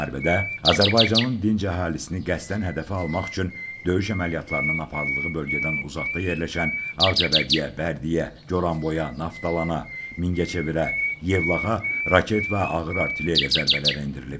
44 günlük müharibədə Azərbaycanın dinc əhalisini qəsdən hədəfə almaq üçün döyüş əməliyyatlarının aparıldığı bölgədən uzaqda yerləşən Ağcabədiyə, Bərdəyə, Goranboya, Naftalana, Mingəçevirə, Yevlağa raket və ağır artilleriya zərbələri endirilib.